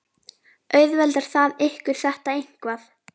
Auðveldar það ykkur þetta eitthvað?